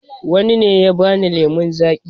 Wa na ne ya ba ni lemon zaƙi